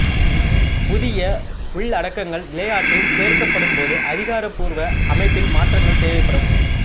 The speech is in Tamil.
புதிய உள்ளடக்கங்கள் விளையாட்டில் சேர்க்கப்படும் போது அதிகாரப்பூர்வ அமைப்பில் மாற்றங்கள் தேவைப்படும்